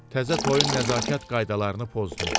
Təzə toyun nəzakət qaydalarını pozdum.